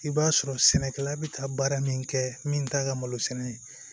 I b'a sɔrɔ sɛnɛkɛla bɛ taa baara min kɛ min t'a ka malo sɛnɛ ye